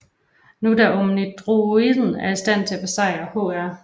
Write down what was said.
Nu da Omnidroiden er i stand til at besejre Hr